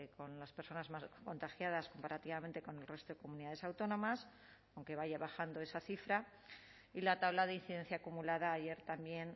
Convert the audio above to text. con las personas más contagiadas comparativamente con el resto de comunidades autónomas aunque vaya bajando esa cifra y la tabla de incidencia acumulada ayer también